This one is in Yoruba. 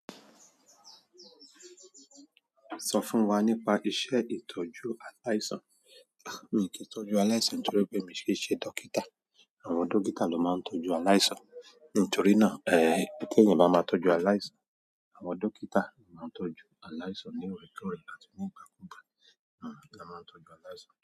Sọ fún wa nípa iṣẹ́ ìtọ́jú aláìsàn. Miì kí ń tọ́jú aláìsàn, to rí pé miì kìí n ṣe dókítà. Àwọn dókítà ló máa ń tọ́jú aláìsàn nítorí náà ẹ́ tí èèyàn bá máa tọ́jú aláìsàn. Àwọn dókítà ló máa ń tọ́jú aláìsàn ní òòrèkóòrè àti ní ìgbàkúgbà. Hhm, ná máa ń tọ́jú aláìsàn.